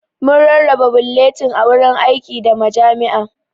Mun rarraba bulletin a wuraren aiki, da majami'a.